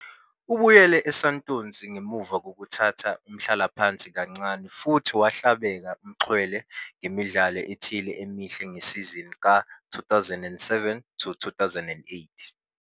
Ubuyele eSantos ngemuva kokuthatha umhlalaphansi kancane futhi wahlabeka umxhwele ngemidlalo ethile emihle ngesizini ka-2007 to 2008.